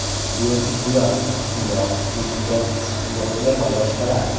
Biotibbiyot (kimyo, fizika, psixologiya va boshqalar).